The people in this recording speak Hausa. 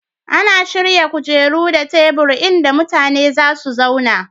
Ana shirya kujeru da tebur inda mutane za su zauna